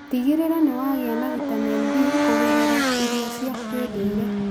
Tigĩrĩra nĩ wagĩa na vitamini B kũgerera irio cia kĩndũire.